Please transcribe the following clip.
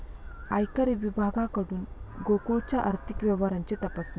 आयकर विभागाकडून गोकुळच्या आर्थिक व्यवहारांची तपासणी